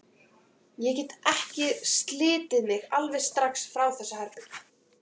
Ég gat ekki slitið mig alveg strax frá þessu herbergi.